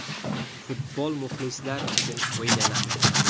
Futbol muxlislar uchun o‘ynaladi.